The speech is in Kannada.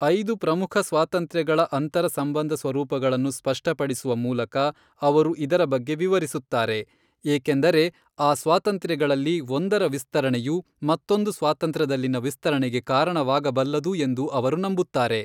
ಐದು ಪ್ರಮುಖ ಸ್ವಾತಂತ್ರ್ಯಗಳ ಅಂತರ ಸಂಬಂಧ ಸ್ವರೂಪಗಳನ್ನು ಸ್ಪಷ್ಟಪಡಿಸುವ ಮೂಲಕ ಅವರು ಇದರ ಬಗ್ಗೆ ವಿವರಿಸುತ್ತಾರೆ, ಏಕೆಂದರೆ ಆ ಸ್ವಾತಂತ್ರ್ಯಗಳಲ್ಲಿ ಒಂದರ ವಿಸ್ತರಣೆಯು ಮತ್ತೊಂದು ಸ್ವಾತಂತ್ರ್ಯದಲ್ಲಿನ ವಿಸ್ತರಣೆಗೆ ಕಾರಣವಾಗಬಲ್ಲದು ಎಂದು ಅವರು ನಂಬುತ್ತಾರೆ.